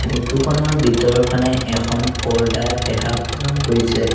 Photo খনৰ ভিতৰৰফানে এখন পৰ্দা দেখা পোৱা গৈছে।